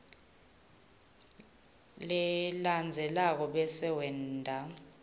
lelandzelako bese wenta